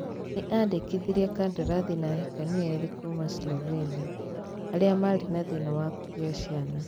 Nĩ andikithirie kandarathi na ahikania erĩ a kuuma Slovenia. Arĩa maarĩ na thĩna wa kũgĩa ciana